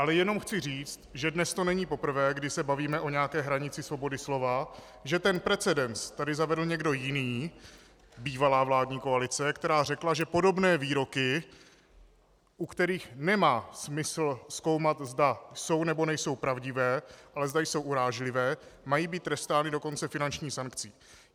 Ale jenom chci říct, že dnes to není poprvé, kdy se bavíme o nějaké hranici svobody slova, že ten precedens tady zavedl někdo jiný - bývalá vládní koalice, která řekla, že podobné výroky, u kterých nemá smysl zkoumat, zda jsou, nebo nejsou pravdivé, ale zda jsou urážlivé, mají být trestány dokonce finanční sankcí.